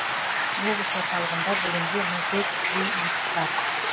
облыс орталығында бүгінде мың төрт жүздей лифт бар